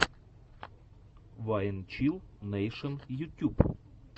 вайн чилл нэйшен ютюб